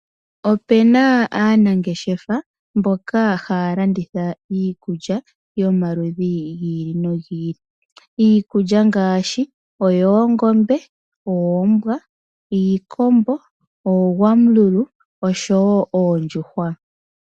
Opu na aanangeshefa mboka haya landitha iikulya yomaludhi giili no giili. Iikulya ngaashi oyoongombe, oombwa, iikombo, oogwamululu oshowo oondjuhwa.